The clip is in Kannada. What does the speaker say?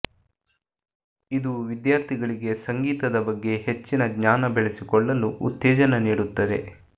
ಇದು ವಿದ್ಯಾರ್ಥಿಗಳಿಗೆ ಸಂಗೀತದ ಬಗ್ಗೆ ಹೆಚ್ಚಿನ ಜ್ಞಾನ ಬೆಳೆಸಿಕೊಳ್ಳಲು ಉತ್ತೇಜನ ನೀಡುತ್ತದೆ